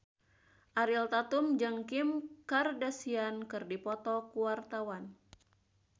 Ariel Tatum jeung Kim Kardashian keur dipoto ku wartawan